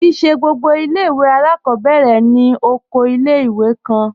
Kí í ṣẹ gbogbo ilẹ̀-iwe alákọbẹ̀rẹ̀ ni òkò ilẹ̀-iwè kàn.